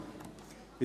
der BiK.